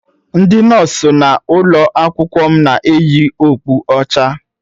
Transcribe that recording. Ndị nọọsụ nọ n'ụlọ akwụkwọ m na-eyi okpu ọcha.